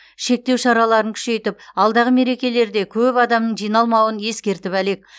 шектеу шараларын күшейтіп алдағы мерекелерде көп адамның жиналмауын ескертіп әлек